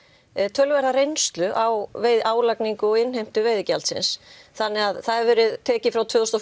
töluverða reynslu á álagningu og innheimtu veiðigjaldsins þannig að það hefur verið tekið frá tvö þúsund